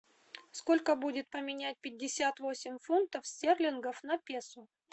сколько будет поменять пятьдесят восемь фунтов стерлингов на песо